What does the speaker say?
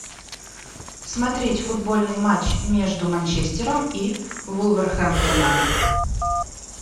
смотреть футбольный матч между манчестером и вулверхэмптоном